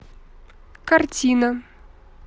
картина